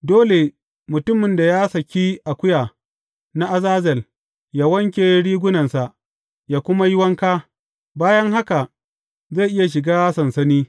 Dole mutumin da ya saki akuya na azazel yă wanke rigunansa yă kuma yi wanka; bayan haka zai iya shiga sansani.